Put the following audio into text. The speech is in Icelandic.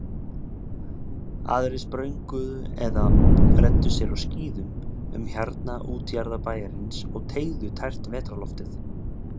Aðrir sprönguðu eða renndu sér á skíðum um hjarnaða útjaðra bæjarins og teyguðu tært vetrarloftið.